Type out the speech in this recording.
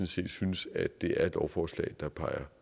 set synes at det er et lovforslag der peger